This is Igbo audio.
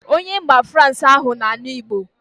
Onye mba frans ahụ ọ na-anụ Igbo